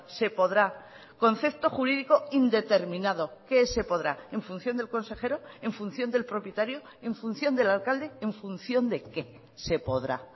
se podrá concepto jurídico indeterminado que se podrá en función del consejero en función del propietario en función del alcalde en función de qué se podrá